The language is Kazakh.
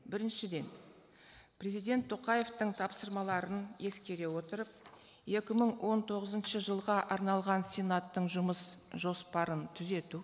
біріншіден президент тоқаевтың тапсырмаларын ескере отырып екі мың он тоғызыншы жылға арналған сенаттың жұмыс жоспарын түзету